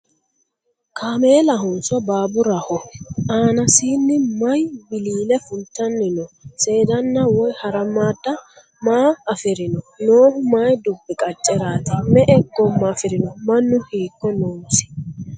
Kameelahonso baaburaho? Aannassi mayi wiliille fulittanni noo? Seedanna woy haramaadda maa afirinno? Noohu mayi dubbi qaceraatti? Me'e goomma afirinno? Mannu hiikko noosi?